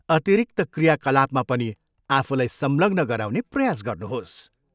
अतिरिक्त क्रियाकलापमा पनि आफूलाई संलग्न गराउने प्रयास गर्नुहोस्।